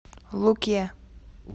луке